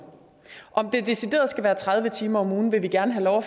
om det decideret skal være tredive timer om ugen vil vi gerne have lov at